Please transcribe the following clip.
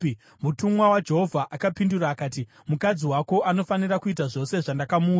Mutumwa waJehovha akapindura akati, “Mukadzi wako anofanira kuita zvose zvandakamuudza.